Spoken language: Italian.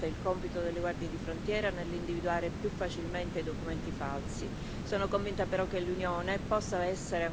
L'uniformità del modello facilita certamente il compito delle Guardie di frontiera nell'individuare più facilmente documenti falsi.